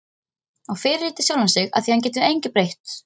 Og fyrirlíti sjálfan sig afþvíað hann getur engu breytt.